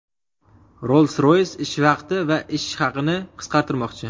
Rolls-Royce ish vaqti va ish haqini qisqartirmoqchi.